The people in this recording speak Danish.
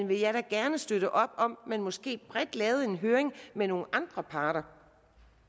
vil da gerne støtte op om at man måske bredt lavede en høring med nogle andre parter